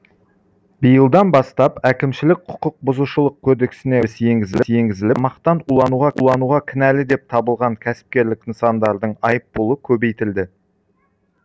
биылдан бастап әкімшілік құқық бұзушылық кодексіне өзгеріс енгізіліп тамақтан улануға кінәлі деп табылған кәсіпкерлік нысандардың айыппұлы көбейтілді